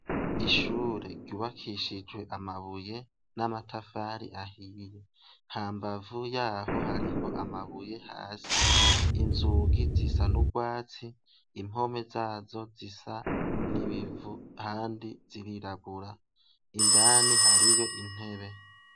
Ishure ryubakishijwe amabuye n'amatafari ahiye, ha mbavu yaho hariho amabuye hasi inzugi zisa n'urwatsi impome zazo zisa n'ibivu handi ziriragura indani hariyo intebe.